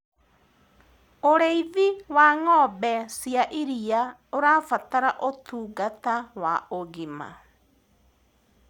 ũrĩithi wa ng'ombe cia iria ũrabatara utungata wa ũgima